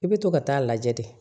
I bɛ to ka taa a lajɛ de